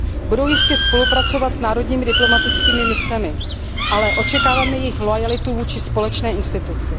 Budou jistě spolupracovat s národními diplomatickými misemi, ale očekáváme jejich loajalitu vůči společné instituci.